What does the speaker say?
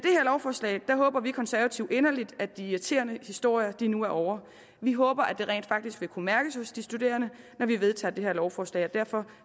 lovforslag håber vi konservative inderligt at de irriterende historier nu er ovre vi håber at det rent faktisk vil kunne mærkes hos de studerende når vi vedtager det her lovforslag og derfor